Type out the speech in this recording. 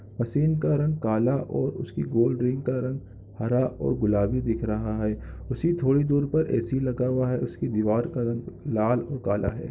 Machine का रंग काला और उसके गोल रिन्ग का रंग हरा और गुलाबी दिख रहा है उसी थोड़ी दूर पर ए. सी. लगा हुआ है उसकी दीवार का रंग लाल और काला है।